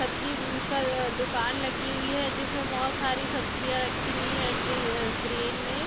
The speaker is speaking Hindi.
सब्जी म का दुकान लगी हुई है जिसमें बहुत सारी सब्जियाँ रखी हुई है ट्रे क्रेन में --